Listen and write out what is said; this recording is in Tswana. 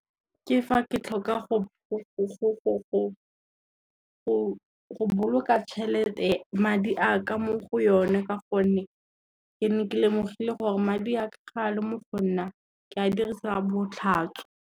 Ke fa ke tlhoka go boloka madi a ka mo go yone ka gonne, ke ne ke lemogile gore madi a ka ga le mo go nna ke a dirisa botlhatswa.